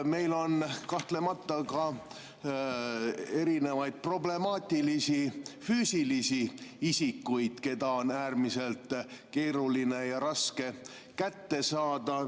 Meil on kahtlemata ka erinevaid problemaatilisi füüsilisi isikuid, keda on äärmiselt keeruline ja raske kätte saada.